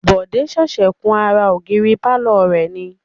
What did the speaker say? Bode ṣẹ̀ṣẹ̀ kun ara ògiri pàlọ́ rẹ̀ ni